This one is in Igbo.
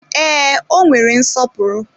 Ee, o nwere nsọpụrụ.